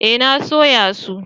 Eh na sayo su.